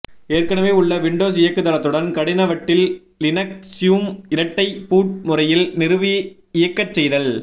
ஏற்கனவே உள்ள விண்டோஸ் இயக்குதளத்துடன் கடினவட்டில் லினக்ஸும் இரட்டை பூட் முறையில் நிறுவி இயக்கச் செய்தல்